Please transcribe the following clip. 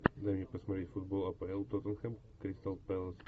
дай мне посмотреть футбол апл тоттенхэм кристал пэлас